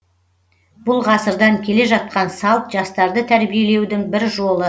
бұл ғасырдан келе жатқан салт жастарды тәрбиелеудің бір жолы